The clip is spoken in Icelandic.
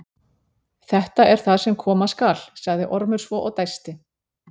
Þetta er það sem koma skal, sagði Ormur svo og dæsti.